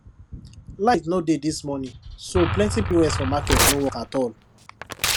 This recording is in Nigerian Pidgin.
light no dey this morning so plenty pos for market no work at all